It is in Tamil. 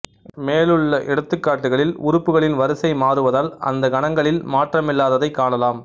மேலுள்ள எடுத்துக்காட்டுகளில் உறுப்புகளின் வரிசை மாறுவதால் அந்த கணங்களில் மாற்றமில்லாததைக் காணலாம்